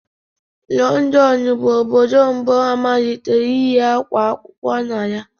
Lọndọnu bụ Obodo mbu amalitere iyi ákwá akwụkwọ na ya.